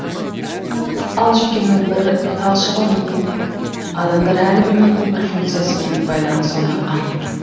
ал жүйкенің бір талшығы мидың адамдар әлі білмейтін бір функциясымен байланыс орнатқан